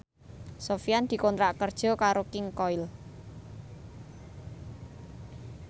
Sofyan dikontrak kerja karo King Koil